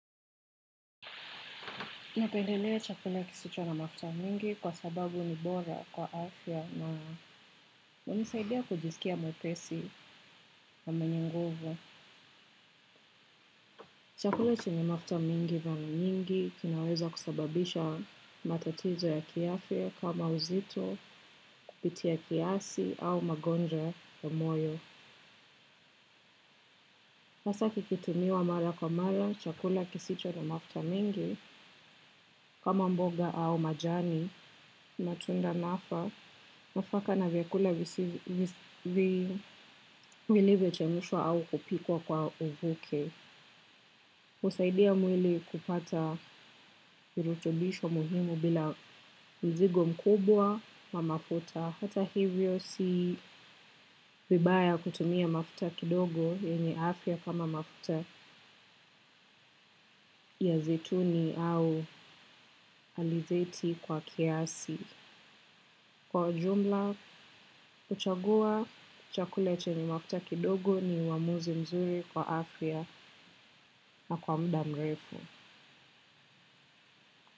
Napendelea chakula kisicho na mafuta mingi kwa sababu ni bora kwa afya na hunisaidia kujisikia mwepesi na mwenye nguvu. Chakula chenye mafuta mengi mara nyingi kinaweza kusababisha matatizo ya kiafya kama uzito kupitia kiasi au magonjwa ya moyo. Hasa kikitumiwa mara kwa mara, chakula kisicho na mafuta mingi, kama mboga au majani, matunda, nafaka na vyakula vilivyo chemshwa au kupikwa kwa mvuke. Husaidia mwili kupata virutubisho muhimu bila mzigo mkubwa wa mafuta hata hivyo si vibaya kutumia mafuta kidogo yenye afya kama mafuta ya zeituni au alizeti kwa kiasi. Kwa ujumla, huchagua, chakula chenye mafuta kidogo ni uamuzi mzuri kwa afya na kwa muda mrefu.